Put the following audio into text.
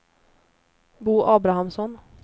Bo Abrahamsson